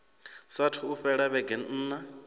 saathu u fhela vhege nṋa